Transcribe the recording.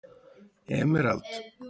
Emerald